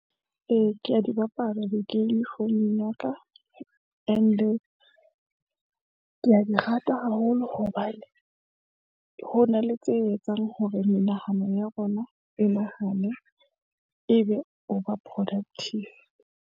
Ee, ke a di bapala di-game founung ya ka and-e ke a di rata haholo, hobane ho na le tse etsang hore menahano ya rona e nahane, ebe o ba productive.